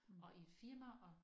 Og i et firma og